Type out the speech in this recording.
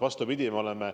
Vastupidi!